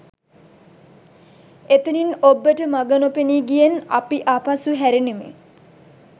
එතැනින් ඔබ්බට මග නොපෙනී ගියෙන් අපි ආපසු හැරුනෙමු